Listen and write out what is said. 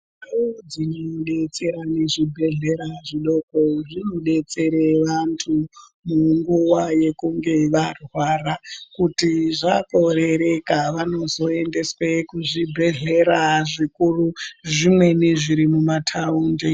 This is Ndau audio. Ndau dzinodetsera nezvibhehlera zvidoko zvinodetsere vantu munguva yekunge varwara. Kuti zvakorereka vanozoendeswe kuzvibhehlera zvikuru, zvimweni zviri mumataundi.